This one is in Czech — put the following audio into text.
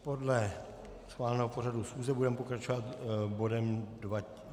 Podle schváleného pořadu schůze budeme pokračovat bodem